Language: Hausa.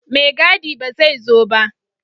Maigadi ba zai zo ba